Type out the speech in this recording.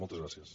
moltes gràcies